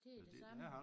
Det er det samme